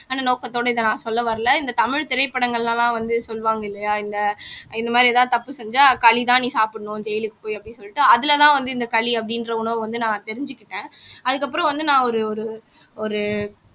அந்த நோக்கத்தோட இத நான் சொல்ல வரல இந்த தமிழ் திரைப்படங்கள்ல எல்லாம் வந்து சொல்லுவாங்க இல்லையா இந்த இந்த மாரி ஏதாவது தப்பு செஞ்சா களிதான் நீ சாப்பிடணும் ஜெயிலுக்கு போய் அப்படின்னு சொல்லிட்டு அதுலதான் வந்து இந்த களி அப்படின்ற உணவு வந்து நான் தெரிஞ்சுக்கிட்டேன் அதுக்கப்புறம் வந்து நான் ஒரு ஒரு ஒரு